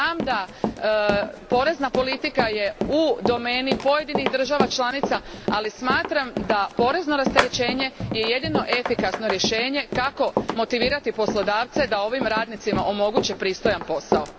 Znam da je porezna politika u domeni pojedinih država članica, ali smatram da je porezno rasterećenje jedino efikasno rješenje kako bi se poslodavci motivirali da ovim radnicima omoguće pristojan posao.